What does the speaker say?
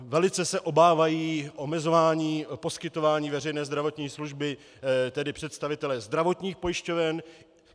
Velice se obávají omezování poskytování veřejné zdravotní služby, tedy představitelé zdravotních pojišťoven.